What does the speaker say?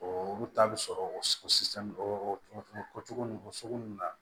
O olu ta bi sɔrɔ o sisan o cogo ni o sugu nunnu na